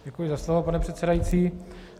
Děkuji za slovo, pane předsedající.